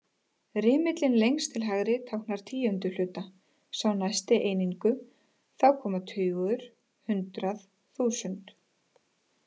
Rimillinn lengst til hægri táknar tíundu hluta, sá næsti einingu, þá koma tugur, hundrað, þúsund.